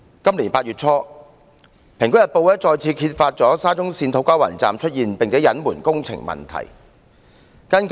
今年8月初，《蘋果日報》再次揭發沙中線土瓜灣站出現工程問題並且被隱瞞。